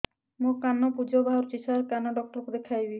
ମୋ କାନରୁ ପୁଜ ବାହାରୁଛି ସାର କାନ ଡକ୍ଟର କୁ ଦେଖାଇବି